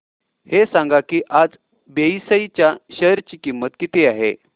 हे सांगा की आज बीएसई च्या शेअर ची किंमत किती आहे